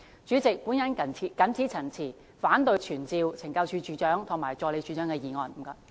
主席，我謹此陳辭，反對傳召懲教署署長及助理署長的議案。